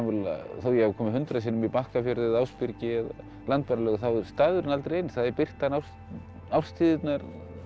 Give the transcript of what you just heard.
þó að ég hafi komið hundrað sinnum í Bakkafjörð eða Ásbyrgi eða Landmannalaugar þá er staðurinn aldrei eins það er birtan árstíðirnar